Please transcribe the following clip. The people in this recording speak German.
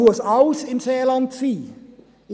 Muss alles im Seeland sein?